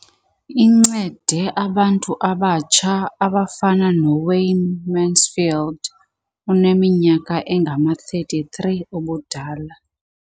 Incede abantu abatsha abafana noWayne Mansfield oneminyaka engama-33 ubudala.